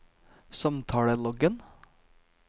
samtaleloggen